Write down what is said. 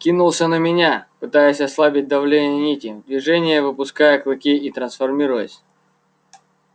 кинулся на меня пытаясь ослабить давление нити в движении выпуская клыки и трансформируясь